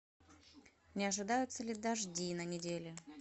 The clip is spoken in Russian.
не ожидаются ли дожди на неделе